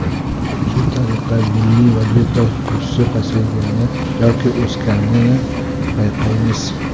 Shu tariqa milliy valyuta kursi pasaygani yoki o‘sganini payqaymiz.